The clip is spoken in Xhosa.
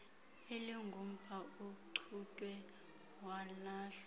elingumpha ochutywe walahlwa